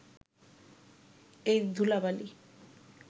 এই ধূলা-বালি